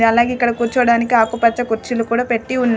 అలాగే ఇక్కడ కూర్చోడానికి ఆకుపచ్చ కుర్చీలు కూడా పెట్టి ఉన్నాయ్.